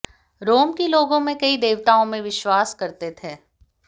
रोम के लोगों में कई देवताओं में विश्वास करते थे